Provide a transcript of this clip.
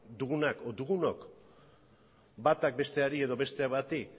dugunak edo dugunok batak besteari edo besteak bati